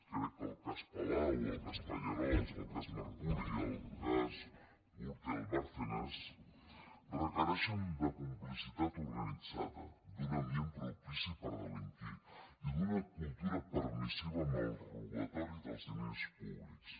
crec que el cas palau o el cas pallerols o el cas mercuri i el cas gürtel bárcenas requereixen complicitat organitzada un ambient propici per delinquir i una cultura permissiva amb el robatori dels diners públics